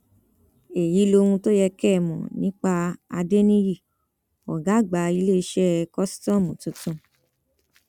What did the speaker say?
èyí lohun tó yẹ kẹ ẹ mọ nípa adẹniyí ọgá àgbà iléeṣẹ kòsítọọmù tuntun